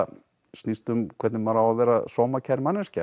snýst um hvernig maður á að vera sómakær manneskja